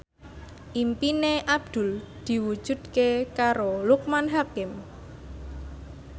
impine Abdul diwujudke karo Loekman Hakim